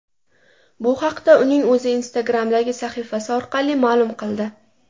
Bu haqda uning o‘zi Instagram’dagi sahifasi orqali ma’lum qildi .